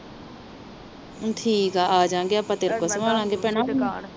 ਠੀਕ ਆ ਆਜਾਗੇ ਆਪਾ ਤੇਰੇ ਕੋਲ ਸਵਾਲਾਗੇ ਹੁਣ